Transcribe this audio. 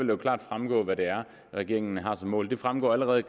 jo klart fremgå hvad det er regeringen har som mål det fremgår allerede